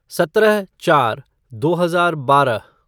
सत्रह चार दो हजार बारह